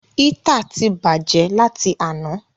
Hítà ti bàjẹ́ láti àná.